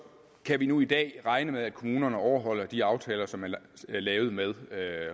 kan vi nu i dag regne med at kommunerne overholder de aftaler som er lavet med